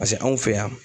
Paseke anw fe yan